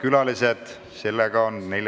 Neljapäevane istung on lõppenud.